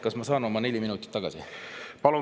Kas ma saan oma neli minutit tagasi?